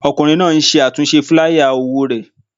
Ọkùnrin náà ń ṣe àtúnṣe fúláyà òwò rẹ̀